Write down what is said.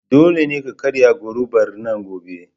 Dole ka karya gorubar nan gobe!